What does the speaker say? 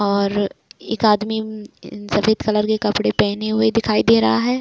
और एक आदमी सफेद कलर के कपड़े पहनें हुए दिखाई दे रहा है।